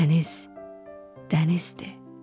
Dəniz dənizdir.